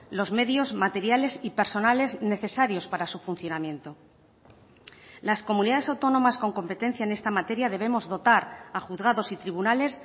los medios materiales y personales necesarios para su funcionamiento las comunidades autónomas con competencia en esta materia debemos dotar a juzgados y tribunales